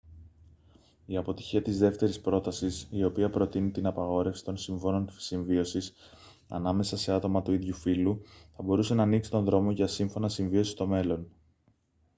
η αποτυχία της δεύτερης πρότασης η οποία προτείνει την απαγόρευση των συμφώνων συμβίωσης ανάμεσα σε άτομα του ίδιου φύλου θα μπορούσε να ανοίξει τον δρόμο για σύμφωνα συμβίωσης στο μέλλον